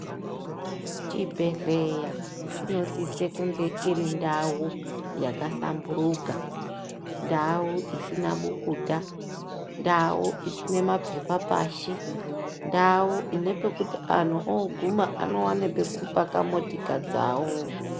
Chibhehleya chinosise kunge iri ndau yakahlamburuka, ndau isina bukuta, ndau isina mapepa pashi, ndau ine pekuti anhu oguma anowane pekupaka motika dzawo.